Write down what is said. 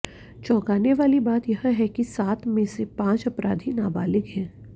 चौंकाने वाली बात यह है कि सात में से पांच अपराधी नाबालिग हैं